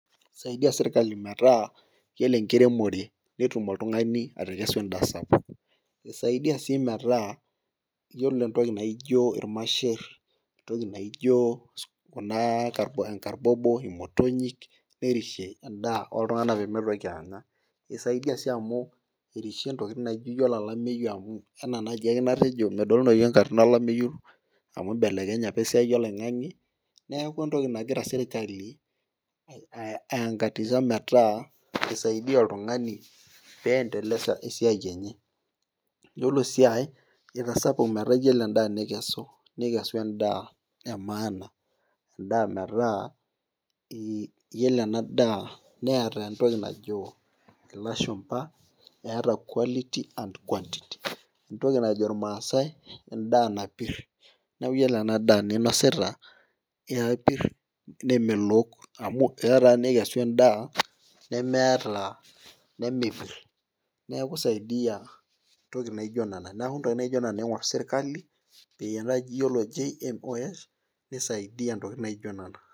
Isaidia sirkali metaa iyiolo enkiremore, netum oltungani atekesu edaa sapuk. isaidia sii metaa iyiolo entoki naijo ilmasher, entoki naijo Kuna enkarbobo, imotonyik nerishe edaa ooltunganak pee mitoki Anya. isaidia sii amu erishe ntokitin, naijo iyiolo olameyu amu, anaa naaji ake enatejo, medolunoyu enkata olameyu amu ibelekenye apa esiai oloingang'e. neeku entoki nagira sirkali aisingatia metaa isaidia oltungani peendelesa esiai enye. iyiolo sii aae itasapuk, metaa iyiolo edaa nikesu, nikesu edaa emaana. edaa metaa iyiolo ena daa neeta entoki naijo ilashumba eeta quality and quantity. entoki naji irmaasae edaa napir. neeku iyiolo ena daa ninosita kepir nemelook amu, eeya taa nikesu edaa nemeeta ,nemepor. neeku isaidia ntokitin naijo nena. neeku ntokitin naijo Nena iing'or sirkali pee iyiolo GMO's nisaidia ntokitin naijo Nena.